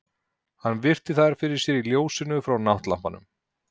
Hann virti þær fyrir sér í ljósinu frá náttlampanum.